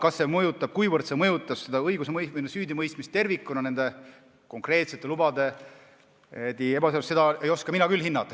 Kuivõrd nende konkreetsete lubade ebaseaduslikkus mõjutas süüdimõistmist tervikuna, seda ei oska mina küll hinnata.